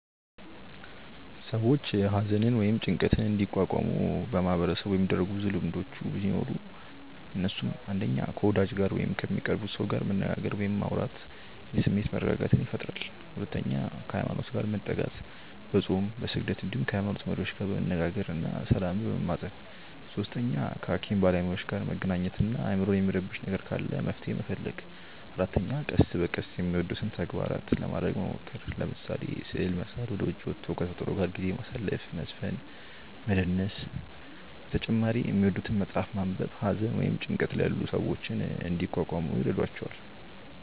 ሰዎች ሃዘንን ወይም ጭንቀትን እንዲቋቋሙ በማህበረሰቡ የሚደረጉ ብዙ ልምዶቹ ሲኖሩ እነሱም፣ 1. ከ ወዳጅ ጋር ወይም ከሚቀርቡት ሰው ጋር መነጋገር ወይም ማውራት የስሜት መረጋጋትን ይፈጥራል 2. ሃይማኖት ጋር መጠጋት፦ በፆም፣ በስግደት እንዲሁም ከ ሃይሞኖት መሪዎች ጋር መነጋገር እና ሰላምን መማፀን 3. ከ ሃኪም ባለሞያዎች ጋር መገናኘት እና አይምሮን የሚረብሽ ነገር ካለ መፍትሔ መፈለግ 4. ቀስ በቀስ የሚወዱትን ተግባራት ለማረግ መሞከር፤ ለምሳሌ፦ ስዕል መሳል፣ ወደ ዉጪ ወቶ ከ ተፈጥሮ ጋር ጊዜ ማሳለፍ፣ መዝፈን እና መደነስ በተጨማሪ የሚወዱትን መፅሐፍ ማንበብ ሃዘን ወይም ጭንቀት ላይ ያሉ ሰዎችን እንዲቋቋሙ ይረዷቸዋል።